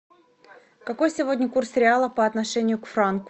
какой сегодня курс реала по отношению к франку